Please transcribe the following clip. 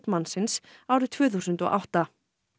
mannsins árið tvö þúsund og átta